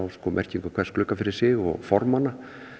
merkingu hvers glugga fyrir sig og formanna